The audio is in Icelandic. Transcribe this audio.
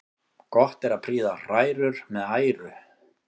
Gott er að prýða hrærur með æru.